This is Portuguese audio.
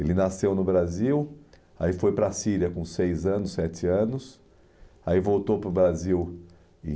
Ele nasceu no Brasil, aí foi para a Síria com seis anos, sete anos, aí voltou para o Brasil